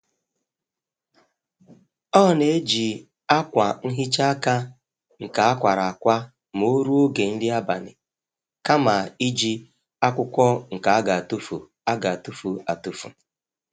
Ọ n'eji akwa nhicha aka nke akwara akwa m'oruo oge nri abali, kama i ji akwukwọ nke a g'atufu a g'atufu atufu